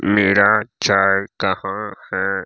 मेरा चाय कहां है।